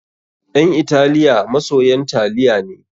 Ƴan Italiya masoyan taliya ne.